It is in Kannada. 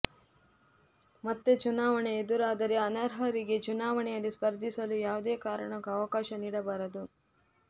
ಮತ್ತೆ ಚುನಾವಣೆ ಎದುರಾದರೆ ಅನರ್ಹರಿಗೆ ಚುನಾವಣೆಯಲ್ಲಿ ಸ್ಪರ್ಧಿಸಲು ಯಾವುದೇ ಕಾರಣಕ್ಕೂ ಅವಕಾಶ ನೀಡಬಾರದು